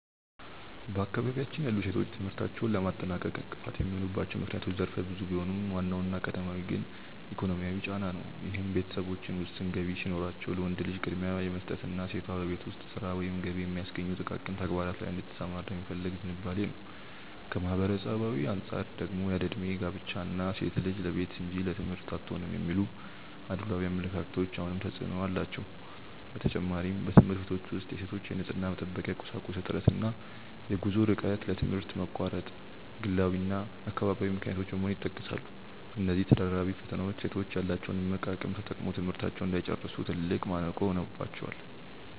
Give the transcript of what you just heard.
በአካባቢያችን ያሉ ሴቶች ትምህርታቸውን ለማጠናቀቅ እንቅፋት የሚሆኑባቸው ምክንያቶች ዘርፈ ብዙ ቢሆኑም፣ ዋናውና ቀዳሚው ግን ኢኮኖሚያዊ ጫና ነው፤ ይህም ቤተሰቦች ውስን ገቢ ሲኖራቸው ለወንድ ልጅ ቅድሚያ የመስጠትና ሴቷ በቤት ውስጥ ሥራ ወይም ገቢ በሚያስገኙ ጥቃቅን ተግባራት ላይ እንድትሰማራ የመፈለግ ዝንባሌ ነው። ከማኅበራዊ አንጻር ደግሞ ያለዕድሜ ጋብቻ እና "ሴት ልጅ ለቤት እንጂ ለትምህርት አትሆንም" የሚሉ አድሏዊ አመለካከቶች አሁንም ተፅዕኖ አላቸው። በተጨማሪም፣ በትምህርት ቤቶች ውስጥ የሴቶች የንፅህና መጠበቂያ ቁሳቁስ እጥረት እና የጉዞ ርቀት ለትምህርት መቋረጥ ግላዊና አካባቢያዊ ምክንያቶች በመሆን ይጠቀሳሉ። እነዚህ ተደራራቢ ፈተናዎች ሴቶች ያላቸውን እምቅ አቅም ተጠቅመው ትምህርታቸውን እንዳይጨርሱ ትልቅ ማነቆ ሆነውባቸዋል።